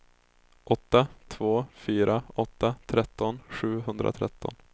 åtta två fyra åtta tretton sjuhundratretton